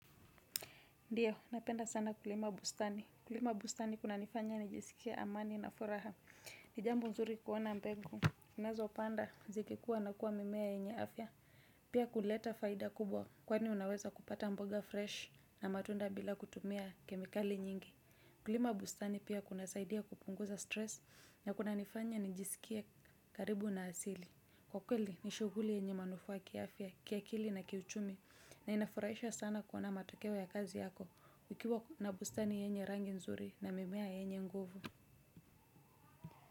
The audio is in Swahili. Ndiyo, napenda sana kulima bustani. Kulima bustani kunanifanya nijisikie amani na furaha. Ni jambo nzuri kuona mbegu. Nazo panda, zikikuwa na kuwa mimea yenye afya. Pia kuleta faida kubwa kwani unaweza kupata mboga fresh na matunda bila kutumia kemikali nyingi. Kulima bustani pia kunasaidia kupunguza stress na kunanifanya nijisikie karibu na asili. Kwa kweli, nishughuli yenye manufaa kiafya, kiakili na kiuchumi na inafurahisha sana kuona matokeo ya kazi yako. Ukiwa na bustani yenye rangi nzuri na mimea yenye nguvu.